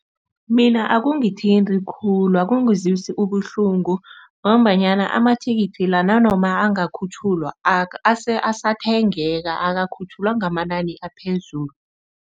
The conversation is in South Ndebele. Mina akungithinti khulu, akungizwisi ubuhlungu ngombanyana ama-ticket la nanoma angakhutjhulwa asathengeka akakhutjhulwa ngamanani aphezulu.